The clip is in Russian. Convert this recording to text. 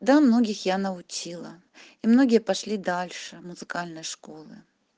да многих я научила и многие пошли дальше музыкальной школы